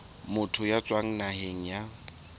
motho ya tswang naheng ya